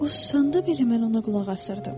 O susanda belə mən ona qulaq asırdım.